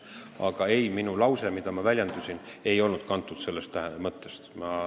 Aga ei, minu lause ei olnud kantud sellest mõttest.